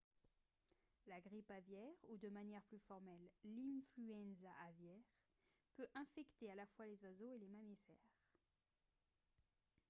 la grippe aviaire ou de manière plus formelle l'influenza aviaire peut infecter à la fois les oiseaux et les mammifères